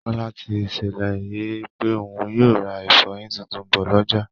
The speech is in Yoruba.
Kọ́lá ti ṣèlérí pé òun yóò ra ìfọyin tuntun bọ̀ lọ́jà